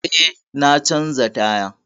Eh, na canza taya.